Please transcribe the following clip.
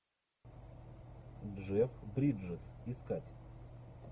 джефф бриджес искать